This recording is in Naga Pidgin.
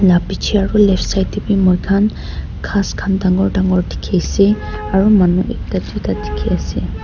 la pichae aru left side left side tae bi moikhan ghas khan dangor dangor dikhiase aro manu ekta tuita dikhiase.